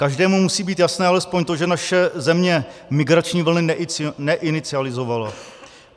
Každému musí být jasné alespoň to, že naše země migrační vlny neinicializovala.